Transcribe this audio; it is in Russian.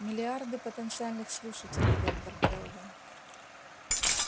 миллиарды потенциальных слушателей доктор кэлвин